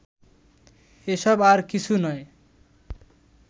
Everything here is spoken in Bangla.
এসব আর কিছু নয়